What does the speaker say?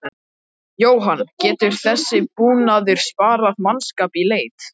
Jóhann: Getur þessi búnaður sparað mannskap í leit?